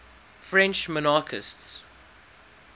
french monarchists